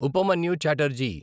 Upamanyu Chatterjee